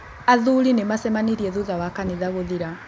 Athuri nĩmacemanĩrie thutha wa kanithagũthira.